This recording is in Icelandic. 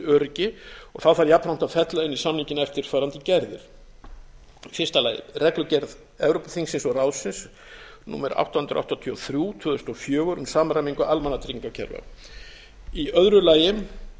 öryggi þá þarf jafnframt að fella inn í samninginn eftirfarandi gerðir í fyrsta lagi reglugerð evrópuþingsins og ráðsins númer átta hundruð áttatíu og þrjú tvö þúsund og fjögur um samræmingu almannatryggingakerfa í öðru lagi